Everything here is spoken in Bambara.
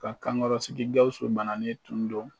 Ka kankɔrɔsigi Gawusu bananen tun don